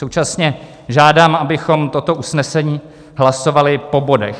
Současně žádám, abychom toto usnesení hlasovali po bodech.